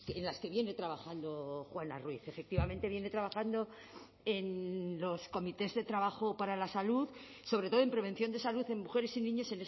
en las que viene trabajando juana ruiz efectivamente viene trabajando en los comités de trabajo para la salud sobre todo en prevención de salud en mujeres y niños